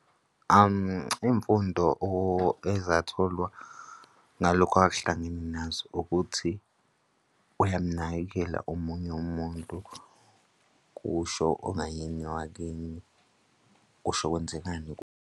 Imfundo ezatholwa ngalokho akahlangene nazo ukuthi uyamunakekela omunye umuntu, kusho ongayena owakini kusho kuzokwenzekani.